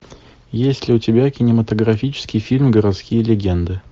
есть ли у тебя кинематографический фильм городские легенды